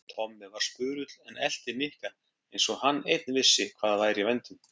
Tommi var spurull en elti Nikka eins og hann einn vissi hvað væri í vændum.